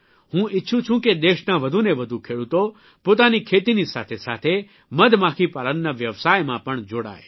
હું ઇચ્છું છું કે દેશના વધુને વધુ ખેડૂતો પોતાની ખેતીની સાથે સાથે મધમાખી પાલનના વ્યવસાયમાં પણ જોડાય